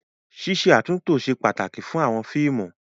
Ṣíṣe àtúntó ṣe pàtàkì fún àwọn fíìmù.